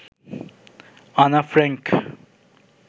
Anna Frank